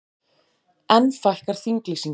Enn fækkar þinglýsingum